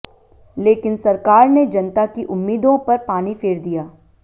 लेकिन सरकार ने जनता की उम्मीदों पर पानी फेर दिया